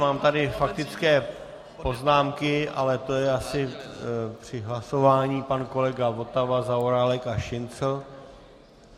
Mám tady faktické poznámky, ale to bylo asi při hlasování - pan kolega Votava, Zaorálek a Šincl.